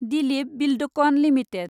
Dilip Buildcon limited